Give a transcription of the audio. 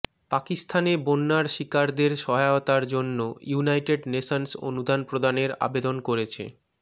পাকিস্তানে বন্যার শিকারদের সহায়তার জন্য ইউনাইটেড নেশনস অনুদান প্রদানের আবেদন করেছে